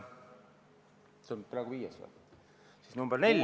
Mis see praegune on, viies või?